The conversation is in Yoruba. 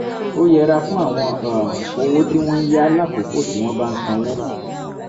ó yẹra fún àwọn um owó tí wọ́n ń yá lákòókò tí wọ́n bá ń sanwó